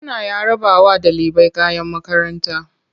Gwamna ya rarrabawa ɗalibai kayan makaranta.